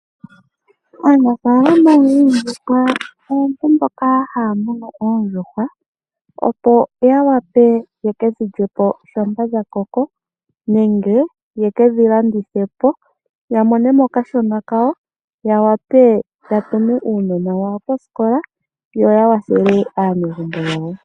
Aanafaalama yoondjuhwa aantu mboka haamunu oondjuhwa opo yawape yekedhi lyepo shampa dhakoko nenge yekedhi landithe po yamone mo okashona kawo, yawape yatume uunona wawo kosikola yoya wathele aanegumbo yawo.